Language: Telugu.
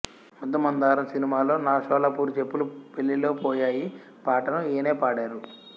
ముద్దమందారం సినిమాలో నా షోలాపూరు చెప్పులు పెళ్ళిలో పోయాయి పాటను ఈయనే పాడారు